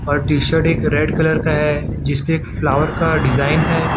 और t shirt एक red colour का है जिसपे फ्लावर का डिजाइन ।